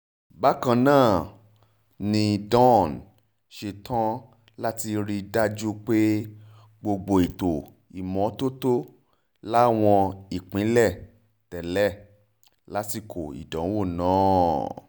bákan náà ni dawn ṣetán láti rí i dájú pé gbogbo ètò ìmọ́tótó láwọn ìpínlẹ̀ tẹ́lẹ̀ lásìkò ìdánwò náà